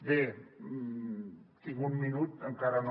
bé tinc un minut encara no